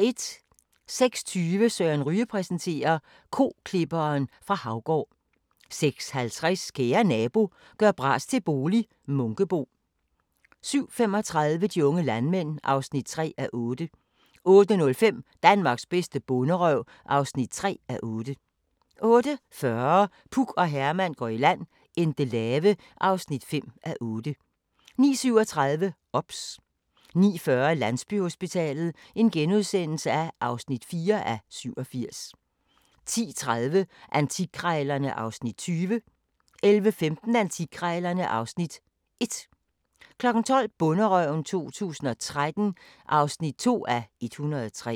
06:20: Søren Ryge præsenterer: Koklipperen fra Haugård 06:50: Kære Nabo – gør bras til bolig - Munkebo 07:35: De unge landmænd (3:8) 08:05: Danmarks bedste bonderøv (3:8) 08:40: Puk og Herman går i land - Endelave (5:8) 09:37: OBS 09:40: Landsbyhospitalet (4:87)* 10:30: Antikkrejlerne (Afs. 20) 11:15: Antikkrejlerne (Afs. 1) 12:00: Bonderøven 2013 (2:103)